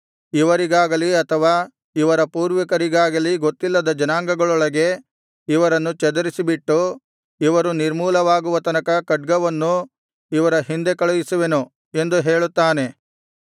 ಇವರಿಗಾಗಲಿ ಅಥವಾ ಇವರ ಪೂರ್ವಿಕರಿಗಾಗಲಿ ಗೊತ್ತಿಲ್ಲದ ಜನಾಂಗಗಳೊಳಗೆ ಇವರನ್ನು ಚದರಿಸಿಬಿಟ್ಟು ಇವರು ನಿರ್ಮೂಲವಾಗುವ ತನಕ ಖಡ್ಗವನ್ನು ಇವರ ಹಿಂದೆ ಕಳುಹಿಸುವೆನು ಎಂದು ಹೇಳುತ್ತಾನೆ